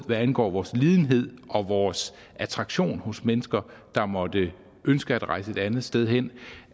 hvad angår vores lidenhed og vores attraktion hos mennesker der måtte ønske at rejse et andet sted hen